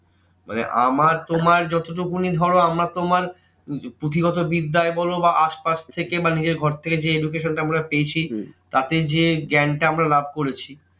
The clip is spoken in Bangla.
মানে আমার তোমার যতটুকুনি ধরো আমরা তোমার পুঁথিগত বিদ্যায় বোলো বা আশপাশ থেকে বা নিজের ঘর থেকে যে education টা আমরা পেয়েছি তাতে যে জ্ঞান টা আমরা লাভ করেছি